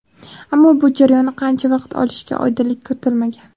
Ammo bu jarayon qancha vaqt olishiga oydinlik kiritilmagan.